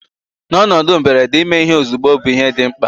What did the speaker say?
N'ọnọdụ mberede, ime ihe ozugbo bụ ihe dị mkpa